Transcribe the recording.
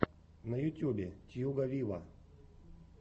на ютубе тьюга виво